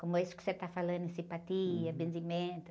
Como isso que você está falando, em simpatia, benzimento.